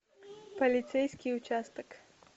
полицейский участок